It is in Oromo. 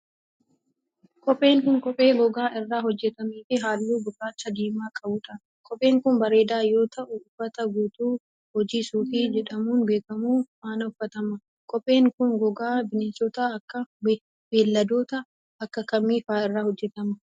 Kopheen kun, kophee gogaa irraa hojjatamee fi haalluu gurraacha diimaa qabuu dha. Kopheen kun, bareedaa yoo ta'u, uffata guutuu hojii suufii jedhamuun beekamu faana uffatama. Kopheen kun, gogaa bineeldota akka kamii faa irraa hojjatama?